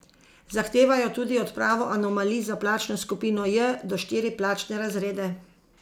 Zahtevajo tudi odpravo anomalij za plačno skupino J do štiri plačne razrede.